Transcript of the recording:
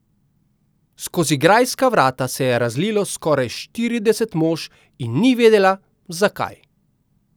Skozi grajska vrata se je razlilo skoraj štirideset mož in ni vedela, zakaj.